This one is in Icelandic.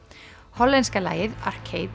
hollenska lagið